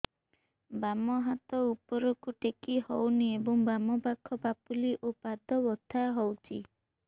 ବାମ ହାତ ଉପରକୁ ଟେକି ହଉନି ଏବଂ ବାମ ପାଖ ପାପୁଲି ଓ ପାଦ ବଥା ହଉଚି